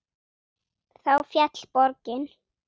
Þá féll borgin.